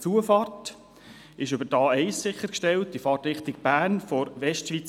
Die Zufahrt ist über die A1 von der Westschweiz her in Fahrtrichtung Bern sichergestellt.